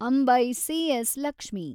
Ambai , C S. Lakshmi